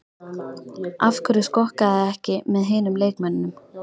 Af hverju skokkarðu ekki með hinum leikmönnunum?